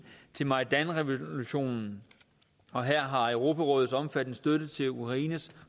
til majdanrevolutionen og her har europarådets omfattende støtte til ukraines